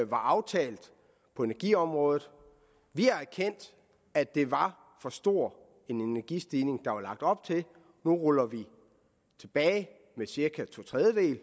var aftalt på energiområdet vi har erkendt at det var for stor en energistigning der var lagt op til vi ruller det tilbage med cirka to tredjedele